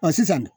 sisan